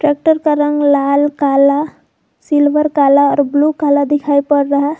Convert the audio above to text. Tractor का रंग लाल काला सिल्वर काला और ब्लू काला दिखाई पड़ रहा है।